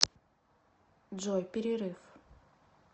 джой перерыв